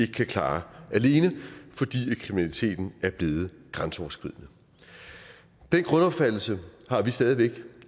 kan klare alene fordi kriminaliteten er blevet grænseoverskridende den grundopfattelse har vi stadig væk